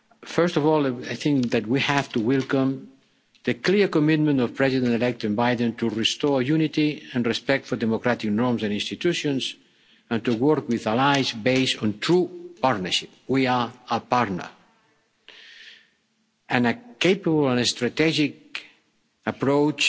First of all, I think that we have to welcome the clear commitment of President elect Biden to restore unity and respect for democratic norms and institutions and work with allies based on true partnership. We are a partner and a capable and strategic approach